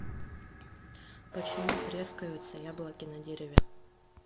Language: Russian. почему трескаются яблоки на дереве